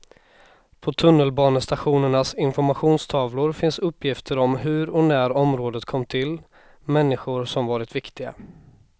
På tunnelbanestationernas informationstavlor finns uppgifter om hur och när området kom till, människor som varit viktiga.